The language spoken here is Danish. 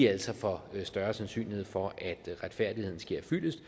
altså får større sandsynlighed for at retfærdigheden sker fyldest